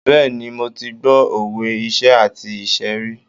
Bẹ́ẹ̀ni, mo ti gbọ́ òwe iṣẹ́ àti ìṣẹ́ rí.